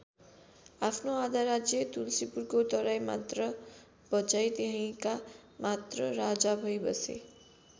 आफ्नो आधा राज्य तल्सीपुरको तराई मात्र बचाई त्यहीँका मात्र राजा भई बसे।